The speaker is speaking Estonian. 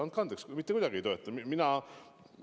Andke andeks, mitte kuidagi ei toeta!